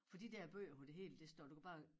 For de der bøger hvor det hele det står du kan bare